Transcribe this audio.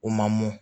U ma mɔn